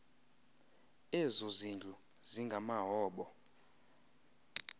ezo zindlu zingamahoba